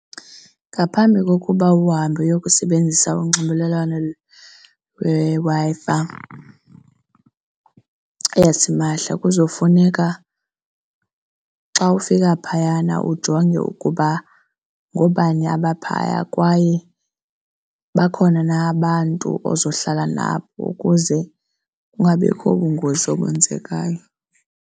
Ngaphambi kokuba uhambe uyokusebenzisa unxibelelwano lweWi-Fi yasimahla kuzofuneka xa ufika phayana ujonge ukuba ngoobani abapha kwaye bakhona na abantu ozohlala nabo ukuze kungabikho bungozi obenzekayo.